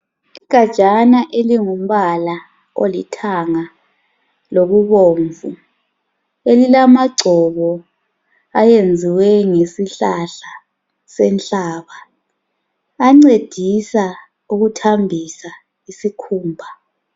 Igajana elingumbala olithanga lokubomvu elilamagcobo ayenziwe ngesihlahla senhlaba ancedisa ukuthambisa isikhumba.